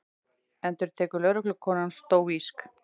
endurtekur lögreglukonan stóísk.